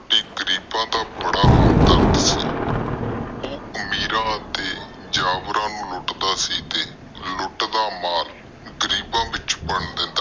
ਆਪਣੇ ਘਰ ਲਿਜਾਣ ਲਾਇ ਰਾਜੀ ਨਾ ਹੋਏ। ਬ੍ਰਾਹਮਣ ਬਸ ਉਸ ਸਮੇ ਦੋ ਇਕੱਠੇ ਵਿਆਹ ਕਰਨ ਲਾਇ ਰੱਖੋ ਨਹੀਂ ਸੀ। ਉਹ ਨਿਰਾਸ਼ ਹੋ ਕੇ ਘਰ ਮੁੜ ਗਿਆ।